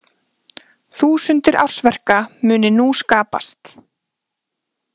Þúsundir ársverka muni nú skapast